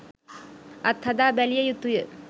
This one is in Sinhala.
අත්හදා බැලිය යුතුය